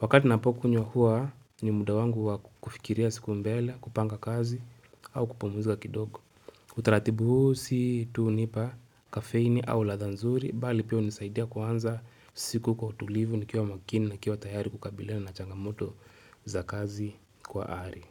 Wakati napokunywa hua ni muda wangu wakufikiria siku mbele kupanga kazi au kupamuzika kidogo utaratibu huu si tu nipa kafeini au lathanzuri Bali pia hunisaidia kuanza siku kwa utulivu nikiwa makini na kiwa tayari kukabilana na changamoto za kazi kwa ari.